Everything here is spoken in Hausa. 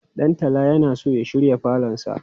Ɗantala yana so ya shirya falonsa.